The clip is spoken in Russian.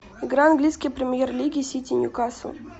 игра английской премьер лиги сити ньюкасл